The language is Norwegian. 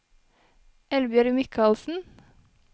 Eldbjørg Michaelsen